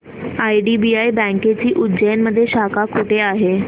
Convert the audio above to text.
IDBI बँकेची उज्जैन मध्ये शाखा कुठे आहे